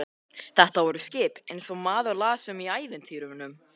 Þetta voru skip eins og maður las um í ævintýrunum.